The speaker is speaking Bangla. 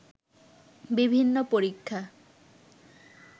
বিভিন্ন পরীক্ষা